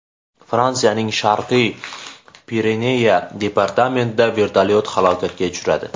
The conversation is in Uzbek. Fransiyaning Sharqiy Pireneya departamentida vertolyot halokatga uchradi.